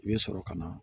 I bɛ sɔrɔ ka na